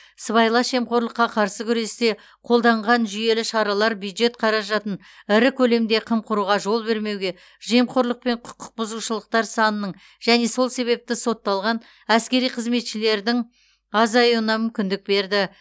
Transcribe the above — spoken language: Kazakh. сыбайлас жемқорлыққа қарсы күресте қолданған жүйелі шаралар бюджет қаражатын ірі көлемде қымқыруға жол бермеуге жемқорлықпен құқық бұзушылықтар санының және сол себепті сотталған әскери қызметшілердің азайуына мүмкіндік берді